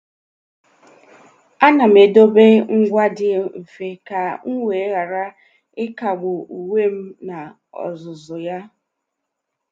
À nà m edèbè ngwa dị mfe kà m wee ghara ị́kágbù uwe m n’ózùzù yá.